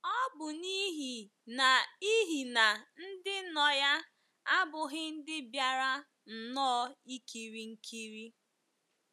Ọ bụ n’ihi n’ihi na ndị nọ ya abụghị ndị bịara nnọọ ikiri nkiri.